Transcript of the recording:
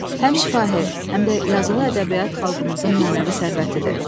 Həm şifahi, həm də yazılı ədəbiyyat xalqımızın mənəvi sərvətidir.